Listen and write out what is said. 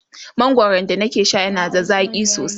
mangwaran da na ke Sha na da zaƙi sosai